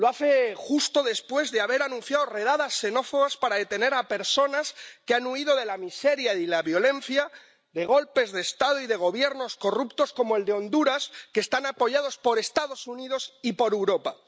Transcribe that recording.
Lo hace justo después de haber anunciado redadas xenófobas para detener a personas que han huido de la miseria y de la violencia, de golpes de Estado y de Gobiernos corruptos, como el de Honduras, que están apoyados por los Estados Unidos y por Europa.